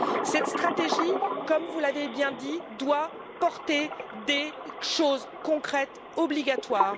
Cette stratégie, comme vous l'avez bien dit, doit porter des choses concrètes, avoir caractère obligatoire.